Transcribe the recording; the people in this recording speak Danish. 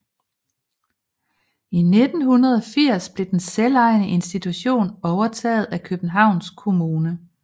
I 1980 blev den selvejende institution overtaget af Københavns Kommune